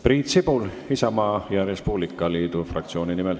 Priit Sibul Isamaa ja Res Publica Liidu fraktsiooni nimel.